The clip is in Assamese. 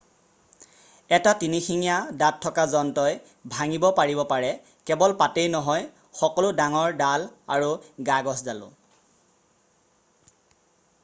এটা তিনিশিঙীয়া দাঁত থকা যন্ত্ৰই ভাঙিব পাৰিব পাৰে কেৱল পাতেই নহয় সকলো ডাঙৰ ডাল আৰু গাগছডালো